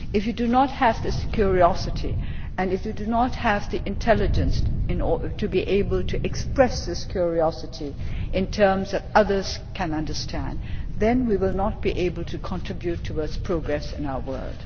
If you do not have this curiosity, and if you do not have the intelligence to be able to express this curiosity in terms that others can understand, then we will not be able to contribute towards progress in our world.